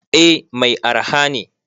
Eh Mai araha ne.